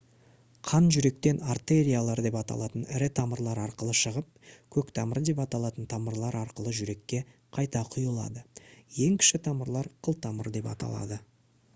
қан жүректен артериялар деп аталатын ірі тамырлар арқылы шығып көктамыр деп аталатын тамырлар арқылы жүрекке қайта құйылады ең кіші тамырлар қылтамыр деп аталады